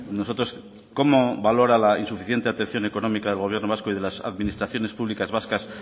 nosotros cómo valora la insuficiente atención económica del gobierno vasco y de las administraciones públicas vascas